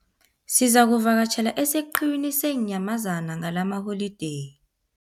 Sizakuvakatjhela esiqhiwini seenyamazana ngalamaholideyi.